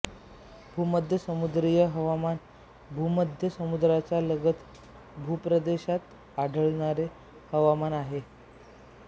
भूमध्य समुद्रीय हवामान भूमध्य समुद्राचा लगत भूप्रदेशात आढळणारे हवामान आहे